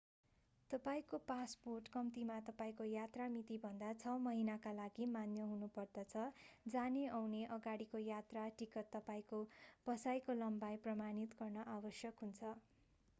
तपाईंको पासपोर्ट कम्तीमा तपाईंको यात्रा मितिभन्दा 6 महिनाका लागि मान्य हुनुपर्दछ। जाने-आउने/अगाडिको यात्रा टिकट तपाईंको बसाईको लम्बाई प्रमाणित गर्न आवश्यक हुन्छ।